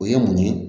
O ye mun ye